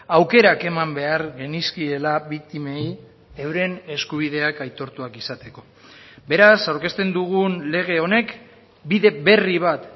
aukerak eman behar genizkiela biktimei euren eskubideak aitortuak izateko beraz aurkezten dugun lege honek bide berri bat